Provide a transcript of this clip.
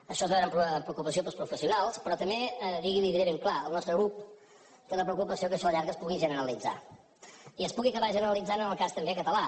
això es va veure amb preocupació pels professionals però també i li ho diré ben clar el nostre grup té la preocupació que això a la llarga es pugui generalitzar i es pugui acabar generalitzant en el cas també català